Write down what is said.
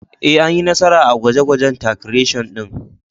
Ee, Anyi nasara a gwaje-gwajen titration din.